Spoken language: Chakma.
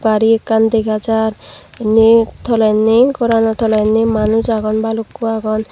gari ekkan dega jar indi tolenni gorano tolenni manuj agon balukko agon.